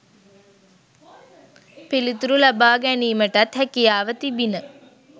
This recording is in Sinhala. පිළිතුරු ලබාගැනීමටත් හැකියාව තිබිණ